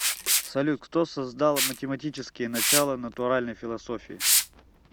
салют кто создал математические начала натуральной философии